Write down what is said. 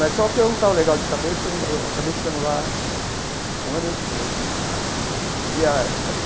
Mas só que eu não estava legal de cabeça, eu eu acabei ficando lá um ano e oito meses, pedi